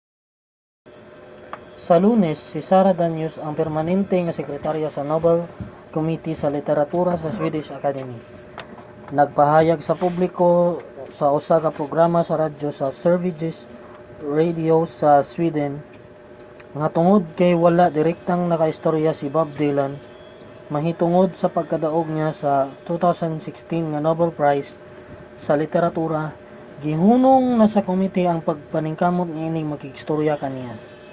sa lunes si sara danius ang permanente nga sekretarya sa nobel committee sa literatura sa swedish academy nagpahayag sa publiko sa usa ka programa sa radyo nga sveriges radio sa sweden nga tungod kay wala direktang nakaistorya si bob dylan mahitungod sa pagkadaog niya sa 2016 nga nobel prize sa literatura gihunong na sa committee ang paningkamot niining makigstorya kaniya